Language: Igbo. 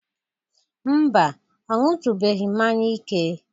Mba, ọ ñụtubeghi mmanya ike.